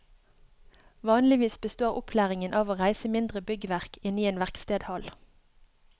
Vanligvis består opplæringen av å reise mindre byggverk inne i en verkstedhall.